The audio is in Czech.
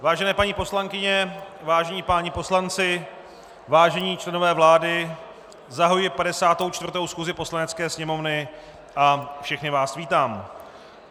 Vážené paní poslankyně, vážení páni poslanci, vážení členové vlády, zahajuji 54. schůzi Poslanecké sněmovny a všechny vás vítám.